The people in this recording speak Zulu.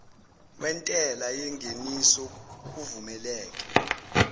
wentela yengeniso kuvumeleke